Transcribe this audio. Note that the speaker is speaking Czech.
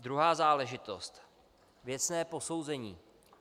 Druhá záležitost - věcné posouzení.